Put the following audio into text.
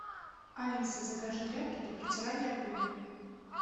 алиса закажи тряпки для протирания пыли